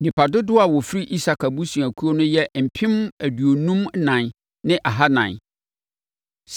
Nnipa dodoɔ a wɔfiri Isakar abusuakuo no yɛ mpem aduonum ɛnan ne ahanan (54,400).